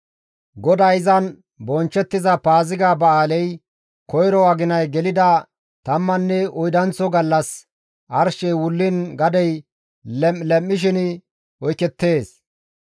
GODAY izan bonchchettiza paaziga ba7aaley koyro aginay gelida tammanne oydanththo gallas arshey wulliin gadey lem7i lem7ishin oykettees.